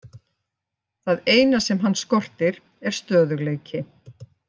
Það eina sem hann skortir er stöðugleiki.